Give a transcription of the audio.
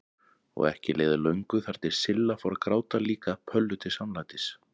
Og ekki leið á löngu þar til Silla fór að gráta líka Pöllu til samlætis.